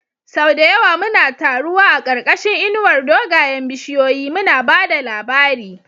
Sau da yawa muna taruwa a ƙarƙashin inuwar dogayen bishiyoyi, muna ba da labari.